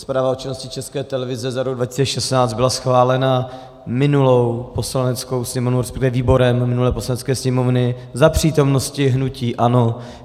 Zpráva o činnosti České televize za rok 2016 byla schválena minulou Poslaneckou sněmovnou, respektive výborem minulé Poslanecké sněmovny za přítomnosti hnutí ANO.